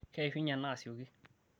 keishunye ena asioki